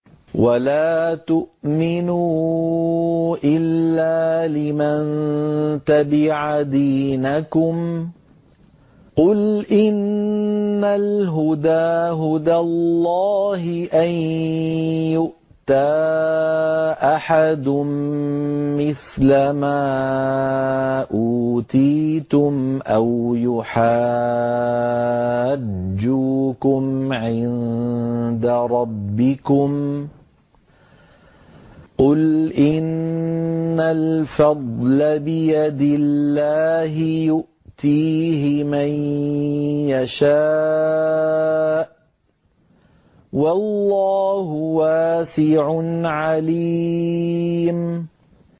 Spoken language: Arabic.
وَلَا تُؤْمِنُوا إِلَّا لِمَن تَبِعَ دِينَكُمْ قُلْ إِنَّ الْهُدَىٰ هُدَى اللَّهِ أَن يُؤْتَىٰ أَحَدٌ مِّثْلَ مَا أُوتِيتُمْ أَوْ يُحَاجُّوكُمْ عِندَ رَبِّكُمْ ۗ قُلْ إِنَّ الْفَضْلَ بِيَدِ اللَّهِ يُؤْتِيهِ مَن يَشَاءُ ۗ وَاللَّهُ وَاسِعٌ عَلِيمٌ